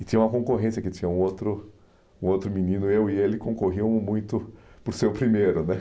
E tinha uma concorrência que tinha um outro outro menino, eu e ele, concorriam muito por ser o primeiro né